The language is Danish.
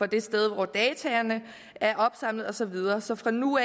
det sted hvor dataene er opsamlet og så videre så fra nu